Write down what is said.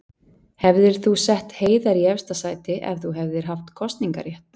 Hefðir þú sett Heiðar í efsta sæti ef þú hefðir haft kosningarétt?